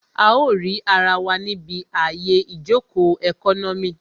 A ó rì ara wa níbi àyè ìjòkó ẹkọ́nọ́mì